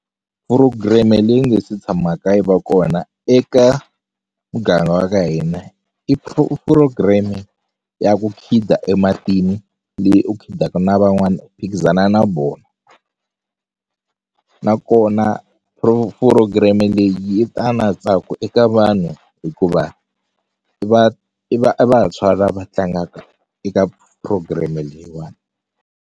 Phurogireme leyi nge se tshamaka yi va kona eka muganga wa ka hina i purogireme ya ku khida ematini leyi u khidaka na van'wani u phikizana na vona nakona purogireme leyi yi ta na ntsako eka vanhu hikuva i i vantshwa lava tlangaka eka programme leyiwani.